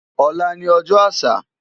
Olá ni òjò ásà